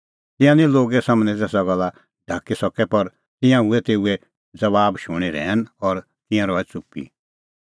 तिंयां निं लोगे सम्हनै तेसा गल्ला ढाकी सकै पर तिंयां हुऐ तेऊए ज़बाबा शूणीं रहैन और तिंयां रहै च़ुप्पी